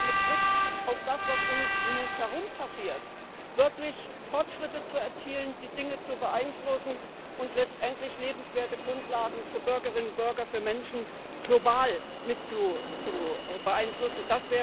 mit Blick auf das, was um uns herum passiert, wirklich Fortschritte zu erzielen, die Dinge zu beeinflussen und letztendlich lebenswerte Grundlagen für Bürgerinnen und Bürger, für Menschen global mit zu beeinflussen.